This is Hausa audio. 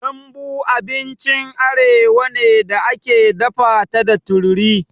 Dambu abincin arewa ne da ake dafawa ta tururi.